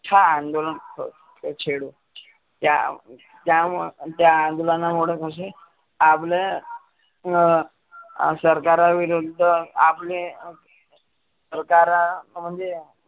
ठ अंदोलन छेडू. त्या त्यामुळं त्या अंदोलनामुळ कसे आपलं अं सरकारा विरुद्ध आपले सरकार म्हणजे